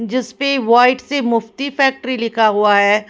जिस पे वाइट से मुफ्ती फैक्ट्री लिखा हुआ है ।